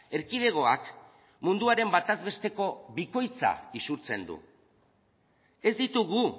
erkidegoak munduaren bataz besteko bikoitza izurtzen du ez ditugu